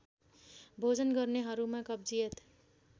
भोजन गर्नेहरूमा कब्जियत